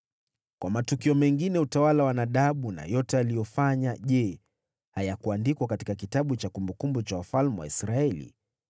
Kwa matukio mengine ya utawala wa Nadabu na yote aliyofanya, je hayakuandikwa katika kitabu cha kumbukumbu za wafalme wa Israeli?